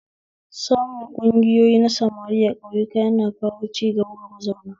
Samun ƙungoyi na samari a ƙauyaku yana kawo ciga ga mazauna